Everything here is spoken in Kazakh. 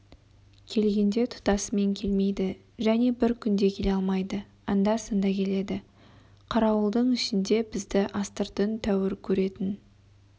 келгенде тұтасымен келмейді және бір күнде келе алмайды анда-санда келеді қарауылдың ішінде бізді астыртын тәуір көретін